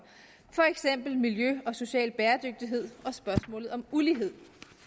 for eksempel miljø og social bæredygtighed og spørgsmålet om ulighed